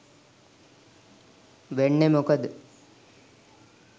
වෙන්නේ මොකද?